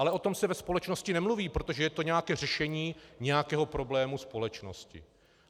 Ale o tom se ve společnosti nemluví, protože to je nějaké řešení nějakého problému společnosti.